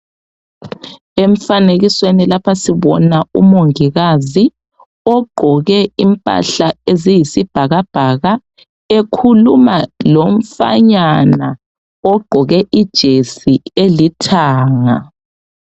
Emfanekisweni lapha sibona umongikazi ogqoke impahla eziyisibhakabhaka ekhuluma lomfanyana ogqoke ijesi elithanga.